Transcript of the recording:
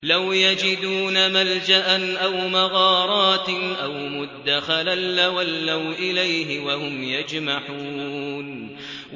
لَوْ يَجِدُونَ مَلْجَأً أَوْ مَغَارَاتٍ أَوْ مُدَّخَلًا لَّوَلَّوْا إِلَيْهِ وَهُمْ يَجْمَحُونَ